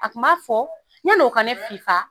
A ku m'a fɔ, yann'o ka ne fifa